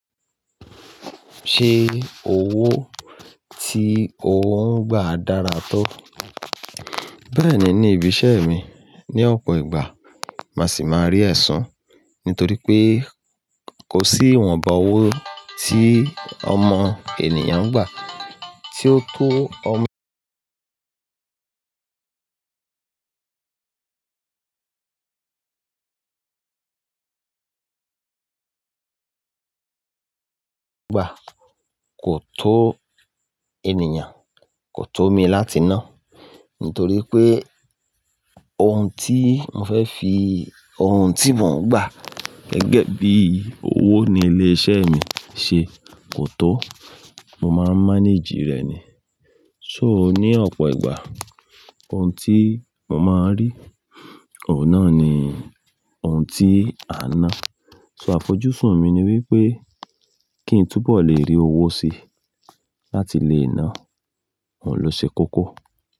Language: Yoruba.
Ṣe owó tí ò ń gbà dára tó? Bẹ́ẹ̀ni ní ibi iṣẹ́ mi, ní ọ̀pọ̀ ìgbà màá sì máa rí ẹ̀san, nítorí pé kò sí ìwọ̀nba owó tí ọmọ ènìyàn ń gbà tí ó tó ọmọ gbà kò tó ènìyàn, kò tó mi láti ná, nítorí pé ohun tí mo fẹ́ fi, ohun tí mò ń gbà Bẹ́ẹ̀ni ní ibi iṣẹ́ mi, ní ọ̀pọ̀ ìgbà màá sì máa rí ẹ̀san, nítorí pé kò sí ìwọ̀nba owó tí ọmọ ènìyàn ń gbà tí ó tó ọmọ Mo máa mánéjì rẹ̀ ni. So ní ọ̀pọ̀ ìgbà ohun tí mo máa ń rí, òun náà ni ohun tí a n ná. So àfojúsùn mi ni wípé kí ń túbọ̀ le rí owó sí láti lé ná, òun ló ṣe kókó.